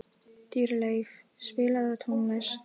Dýrleif, spilaðu tónlist.